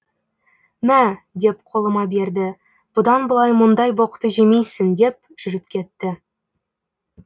мә деп қолыма берді бұдан былай мұндай боқты жемейсің деп жүріп кетті